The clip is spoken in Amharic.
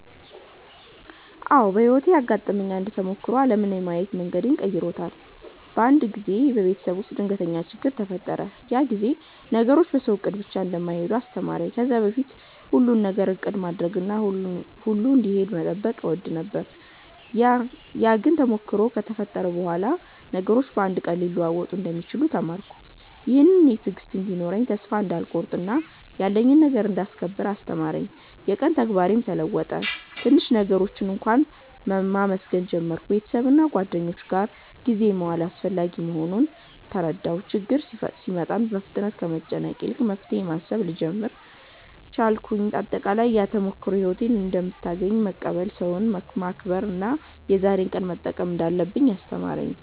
አዎ፣ በሕይወቴ ያጋጠመኝ አንድ ተሞክሮ ዓለምን የማየት መንገዴን በጣም ቀይሮታል። አንድ ጊዜ በቤተሰብ ውስጥ ድንገተኛ ችግኝ ተፈጠረ፤ ያ ጊዜ ነገሮች በሰው እቅድ ብቻ እንደማይሄዱ አስተማረኝ። ከዚያ በፊት ሁሉን ነገር እቅድ ማድረግና ሁሉ እንዲሄድ መጠበቅ እወድ ነበር፤ ግን ያ ተሞክሮ ከተፈጠረ በኋላ ነገሮች በአንድ ቀን ሊለወጡ እንደሚችሉ ተማርኩ። ይህም እኔን ትዕግሥት እንዲኖረኝ፣ ተስፋ እንዳልቆርጥ እና ያለኝን ነገር እንዳስከብር አስተማረኝ። የቀን ተግባሬም ተለወጠ፤ ትንሽ ነገሮችን እንኳ መመስገን ጀመርሁ። ቤተሰብና ጓደኞች ጋር ጊዜ መዋል አስፈላጊ መሆኑን ተረዳሁ። ችግኝ ሲመጣ ፍጥነት ከመጨነቅ ይልቅ መፍትሄ ማሰብ ልጀምር ቻልኩ። አጠቃላይ፣ ያ ተሞክሮ ሕይወት እንደምታገኘን መቀበል፣ ሰዎችን መከብር እና የዛሬን ቀን መጠቀም እንዳለብኝ አስተማረኝ።